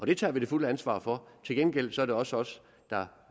det tager vi det fulde ansvar for til gengæld er det også os der